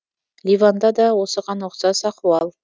ливанда да осыған ұқсас ахуал